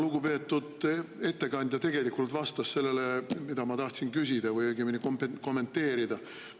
Lugupeetud ettekandja juba tegelikult vastas sellele, mida ma tahtsin küsida või õigemini kommenteerida.